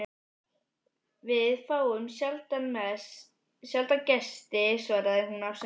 Við fáum sjaldan gesti svaraði hún afsakandi.